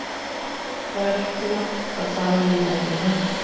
Það er ekki langt að fara í vinnuna.